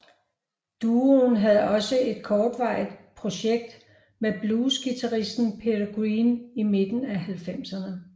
Duoen havde også et kortvarigt projekt med bluesguitaristen Peter Green i midten af halvfemserne